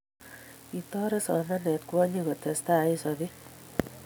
kitoret somanee kwonyik kutestai en sobee